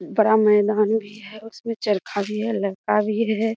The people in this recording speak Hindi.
बड़ा मैदान भी है उसपे चर्खा भी है लड़का भी है |